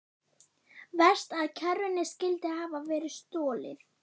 Verst að kerrunni skyldi hafa verið stolið.